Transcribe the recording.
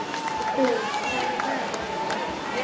Ennþá eru þó flutt málverk til landsins.